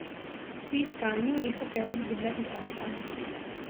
Pri iskanju ni hotel izgubljati časa.